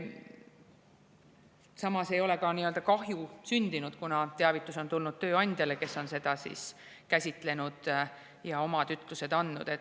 Samas ei ole kahju sündinud, kuna teavitus on tulnud tööandjale, kes on seda käsitlenud ja oma ütlused andnud.